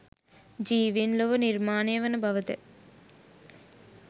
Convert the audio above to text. ජීවීන් ලොව නිර්මාණය වන බවද?